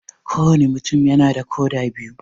Ko wanne mutum yana da koda biyu